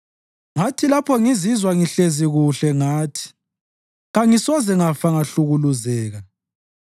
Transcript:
Ngathi lapho ngizizwa ngihlezi kuhle ngathi, “Kangisoze ngafa ngahlukuluzeka.”